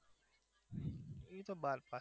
એ તો બાર pass